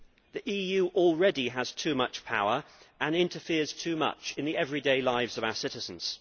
The EU already has too much power and interferes too much in the everyday lives of our citizens.